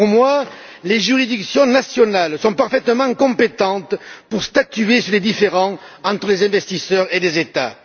Pour moi, les juridictions nationales sont parfaitement compétentes pour statuer sur les différends entre les investisseurs et les États.